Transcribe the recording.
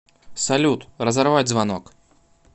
салют разорвать звонок